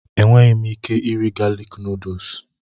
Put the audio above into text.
Enweghị m ike iri galik nuduls.